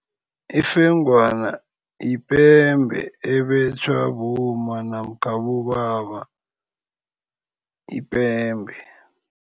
Ifengwana yipembe ebetjhwa bomma namkha abobaba yipembe.